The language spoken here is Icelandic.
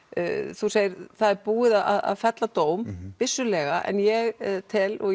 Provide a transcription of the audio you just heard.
þú segir að það er búið að fella dóm vissulega en ég tel og